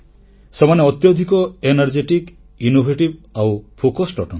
ସେମାନେ ଅତ୍ୟଧିକ ଶକ୍ତିମାନ ସୃଜନଶୀଳ ଏବଂ ଏକାଗ୍ରଚିତ ଅଟନ୍ତି